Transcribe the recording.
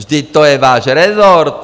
Vždyť to je váš rezort!